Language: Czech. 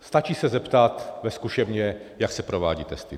Stačí se zeptat ve zkušebně, jak se provádějí testy.